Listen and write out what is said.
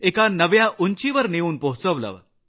एका नव्या उंचीवर नेऊन पोहचवलं